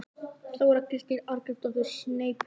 Þóra Kristín Arngrímsdóttir: Sneypuför?